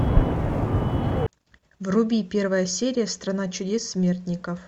вруби первая серия страна чудес смертников